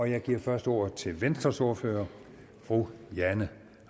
jeg giver først ordet til venstres ordfører fru jane